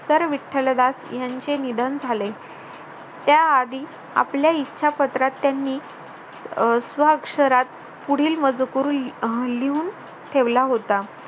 तर विठ्ठलदास यांचे निधन झाले त्याआधी आपल्या इच्छा पत्रात त्यांनी स्व अक्षरात पुढील मजकूर लिहून ठेवला होता